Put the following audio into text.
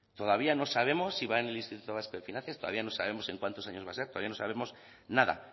todavía no sabemos si va en el instituto vasco de finanzas todavía no sabemos en cuántos años va a ser todavía no sabemos nada